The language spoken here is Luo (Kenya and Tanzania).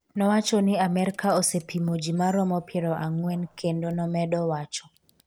nowacho ni Amerka osepimo ji maromo milion piero ang'wen, kendo nomedo wacho